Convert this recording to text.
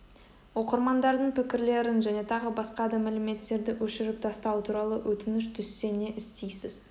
оқырмандардың пікірлерін және тағы басқа да мәліметтерді өшіріп тастау туралы өтініш түссе не істейсіз